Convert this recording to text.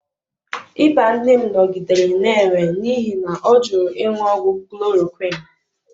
ịba nne m nọgidere na-enwe n'ihi na ọ jụrụ ịṅụ ọgwụ chloroquine.